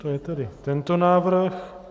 To je tedy tento návrh.